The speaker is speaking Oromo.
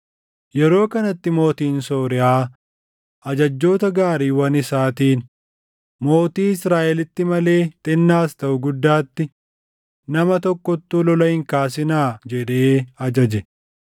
Yeroo kanatti mootiin Sooriyaa ajajjoota gaariiwwan isaatiin, “Mootii Israaʼelitti malee xinnaas taʼu guddaatti, nama tokkottuu lola hin kaasinaa” jedhee ajaje.